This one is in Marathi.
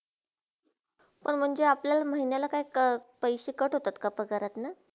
तर म्हणजे अपल्याला महिण्याला काय का पैशे cut होतात का पगारातना?